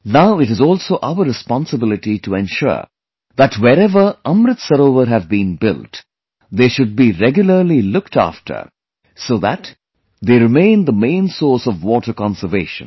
Now it is also our responsibility to ensure that wherever 'AmritSarovar' have been built, they should be regularly looked after so that they remain the main source of water conservation